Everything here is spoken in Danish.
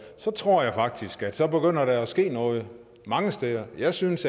så tror jeg faktisk at der begynder at ske noget mange steder jeg synes